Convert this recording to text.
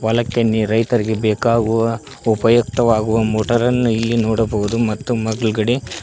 ಲಕ್ಕೆ ನೀರೈತರಿಗೆ ಬೇಕಾಗುವ ಉಪಯುಕ್ತವಾಗುವ ಮೋಟರ ಅನ್ನು ಇಲ್ಲಿ ನೋಡಬಹುದು ಮತ್ತು ಮಗ್ಗಲಗಡೆ--